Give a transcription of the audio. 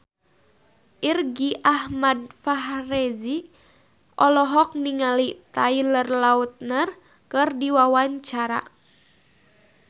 Irgi Ahmad Fahrezi olohok ningali Taylor Lautner keur diwawancara